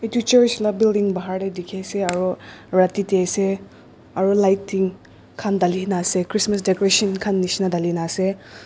tu church la building bahar tey dekhe ase aro radeda ase aro lighting khan thalena ase Christmas decoration khan neshna dhalena ase.